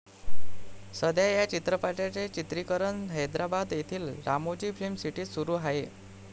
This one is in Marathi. सध्या या चित्रपटाचे चित्रिकरण हैदराबाद येथील रामोजी फिल्म सिटीत सुरु आहे.